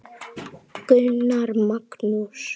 Gunnar Magnús.